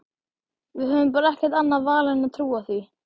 Við höfum bara ekkert annað val en að trúa því.